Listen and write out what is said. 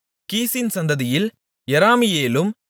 கீசின் சந்ததியில் யெராமியேலும்